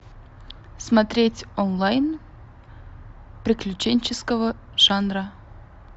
смотреть онлайн приключенческого жанра